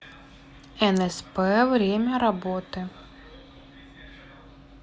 энэспэ время работы